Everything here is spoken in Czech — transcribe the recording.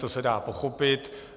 To se dá pochopit.